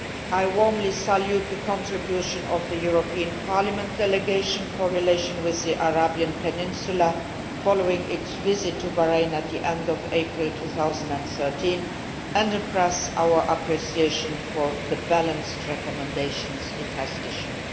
I warmly salute the contribution of the European Parliament Delegation for Relations with the Arab Peninsula following its visit to Bahrain at the end of April 2013 and express our appreciation for the balanced recommendations it has issued.